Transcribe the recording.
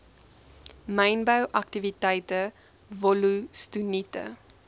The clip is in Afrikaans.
mynbou aktiwiteite wollostonite